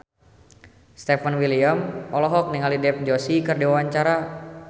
Stefan William olohok ningali Dev Joshi keur diwawancara